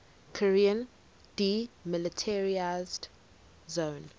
korean demilitarized zone